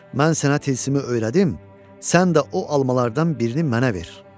Mən sənə tilsimi öyrədim, sən də o almalardan birini mənə ver."